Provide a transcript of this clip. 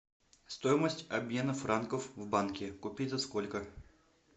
стоимость обмена франков в банке купить за сколько